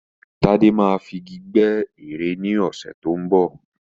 Tádé máa fi Igi gbẹ́ ère ni ọ̀sẹ̀ tó ń bọ̀.